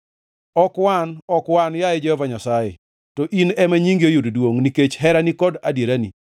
Ok wan, ok wan, yaye Jehova Nyasaye, to In ema nyingi oyud duongʼ, nikech herani kod adierani.